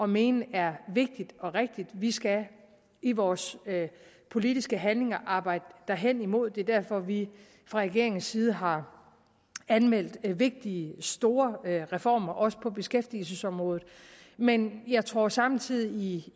mene er vigtigt og rigtigt vi skal i vores politiske handlinger arbejde hen imod det er derfor at vi fra regeringens side har anmeldt vigtige store reformer også på beskæftigelsesområdet men jeg tror samtidig